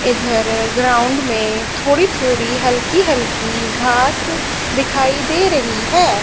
इधर ग्राउंड में थोड़ी थोड़ी हल्की हल्की घास दिखाई दे रही है।